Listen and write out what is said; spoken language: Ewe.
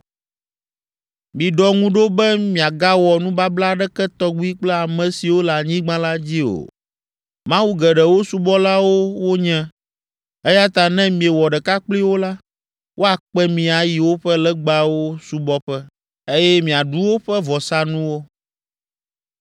“Miɖɔ ŋu ɖo be miagawɔ nubabla aɖeke tɔgbi kple ame siwo le anyigba la dzi o. Mawu geɖewo subɔlawo wonye, eya ta ne miewɔ ɖeka kpli wo la, woakpe mi ayi woƒe legbawo subɔƒe, eye míaɖu woƒe vɔsanuwo.